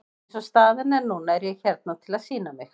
Eins og staðan er núna er ég hérna til að sýna mig.